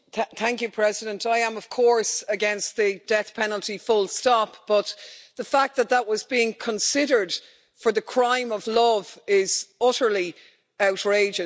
Mr President, I am, of course, against the death penalty full stop, but the fact that that was being considered for the crime of love is utterly outrageous.